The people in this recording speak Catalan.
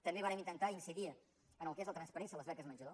també vàrem intentar incidir en el que és la transparència a les beques menjador